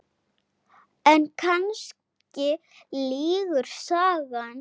En kannski lýgur sagan.